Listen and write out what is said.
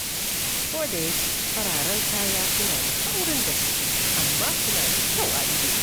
Kodayake fararen kaya suna da saurin datti, amma suna da kyau a ido.